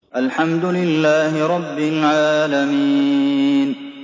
الْحَمْدُ لِلَّهِ رَبِّ الْعَالَمِينَ